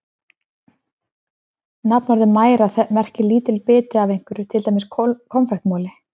Nafnorðið mæra merkir lítill biti af einhverju, til dæmis konfektmoli.